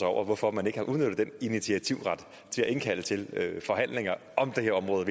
over hvorfor man ikke har udnyttet den initiativret til at indkalde til forhandlinger om det her område